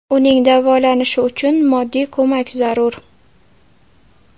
Uning davolanishi uchun moddiy ko‘mak zarur.